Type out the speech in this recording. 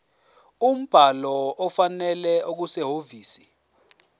umbhalo ofanele okusehhovisi